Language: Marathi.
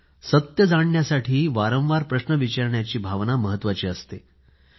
सत्य जाणण्यासाठी वारंवार प्रश्न विचारण्याची भावना महत्वाची आहे